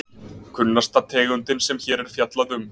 Kunnasta tegundin sem hér er fjallað um.